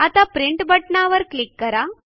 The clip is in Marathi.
आता प्रिंट बटणावर क्लिक करा